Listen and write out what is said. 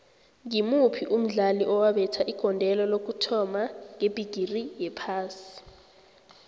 ngimuphi umdlali owabetha igondelo lokuthoma ngebhigiri yephasi